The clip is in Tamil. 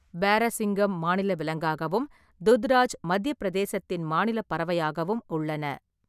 பாரசிங்கம் மாநில விலங்காகவும், துத்ராஜ் மத்தியப் பிரதேசத்தின் மாநிலப் பறவையாகவும் உள்ளன.